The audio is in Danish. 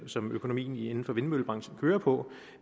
som økonomien inden for vindmøllebranchen kører på